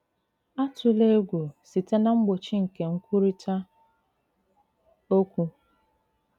Àtùlà ègwù site na mgbochi nke nkwurịta òkwù.